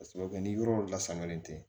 Ka sababu kɛ ni yɔrɔ la sannan tɛ